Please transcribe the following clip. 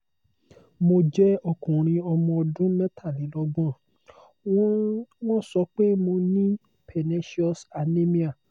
mo jẹ́ okunrin ọmọ ọdún metalelogbon wọ́n wọ́n so pe mo ní pernecious anemia